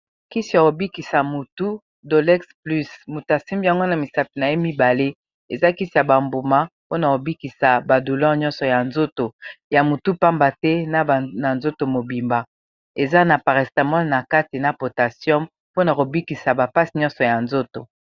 kisi ya kobikisa mutu dolex plus mutasime yango na misato na ye mibale eza kisi ya bambuma mpona kobikisa badoulor yonso ya motu mpamba te na na nzoto mobimba eza na parestamone na kate na portation mpona kobikisa bapasse nyonso ya nzoto